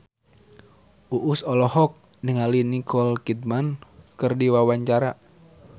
Uus olohok ningali Nicole Kidman keur diwawancara